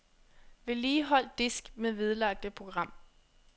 Vedligehold disk med vedlagte program.